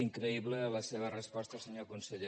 increïble la seva resposta senyor conseller